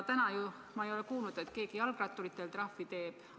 Täna ma ei ole kuulnud, et keegi jalgratturitele trahvi teeks.